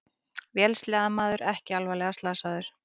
Vélsleðamaður ekki alvarlega slasaður